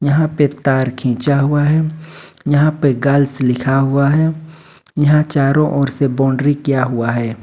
यहां पे तार खींचा हुआ है यहां पे गर्ल्स लिखा हुआ है यहां चारों ओर से बाउंड्री किया हुआ है।